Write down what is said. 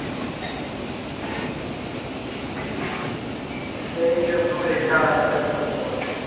એટલે એ દિવસ નું rate card અલગ જ બનતું હોય